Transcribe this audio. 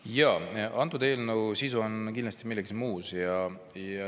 Jaa, antud eelnõu sisu on kindlasti milleski muus.